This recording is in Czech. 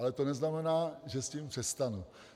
Ale to neznamená, že s tím přestanu.